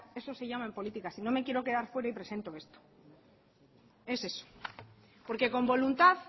eso se llama en política sino me quiero quedar fuera y presento esto es eso porque con voluntad